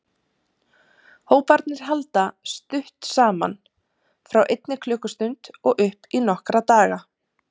Hóparnir halda stutt saman, frá einni klukkustund og upp í nokkra daga.